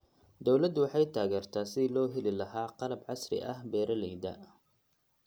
Dawladdu waxay taageertaa sidii loo heli lahaa qalab casri ah beeralayda.